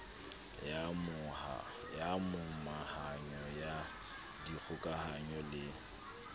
ya momahanyo ya dikgokahanyo le